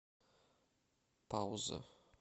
пауза